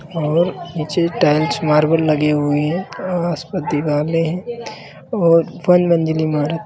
और नीचे tiles marble लगे हुए हैं आसपास दिवाले है वन मंजलि इमारत--